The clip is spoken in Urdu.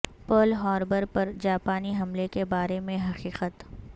پرل ہاربر پر جاپانی حملے کے بارے میں حقیقت